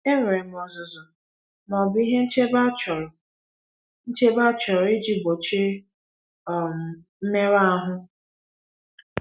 Enwere m ọzụzụ ma ọ bụ ihe nchebe achọrọ nchebe achọrọ iji gbochie um mmerụ ahụ?